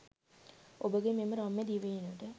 ඔබගේ මෙම රම්‍ය දිවයිනට